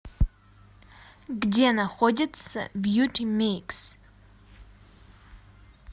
где находится бьюти микс